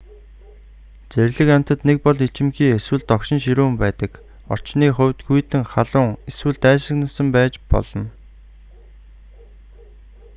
зэрлэг амьтад нэг бол ичимхий эсвэл догшин ширүүн байдаг орчны хувьд хүйтэн халуун эсвэл дайсагнасан байж болно